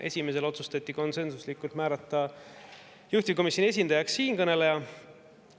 Esimesel otsustati konsensuslikult määrata juhtivkomisjoni esindajaks siinkõneleja.